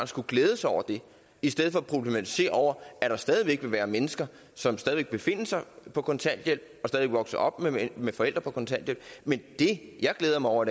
skulle glæde sig over det i stedet for at problematisere at der stadig væk vil være mennesker som vil befinde sig på kontanthjælp eller vokse op med forældre på kontanthjælp men det jeg glæder mig over